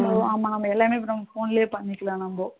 ஆமா நம்ம எல்லாமே இப்ப phone லேயே பண்ணிக்கலாம் நாம